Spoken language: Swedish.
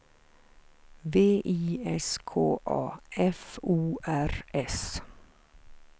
V I S K A F O R S